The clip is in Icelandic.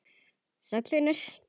Sæll vinur